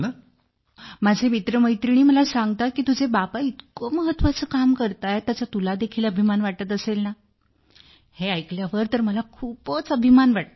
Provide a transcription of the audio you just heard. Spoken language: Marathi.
हो माझे मित्रमैत्रिणी मला सांगतात की तुझे बाबा इतके महत्वाचे काम करतायत त्याचा तुला देखील अभिमान वाटत असेल ना हे ऐकल्यावर तर मला खूपच अभिमान वाटतो